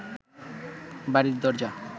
বাড়ির দরজা